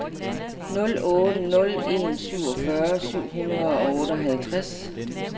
nul otte nul en syvogfyrre syv hundrede og otteoghalvtreds